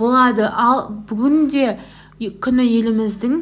болады бұл бүгінгі күні еліміздің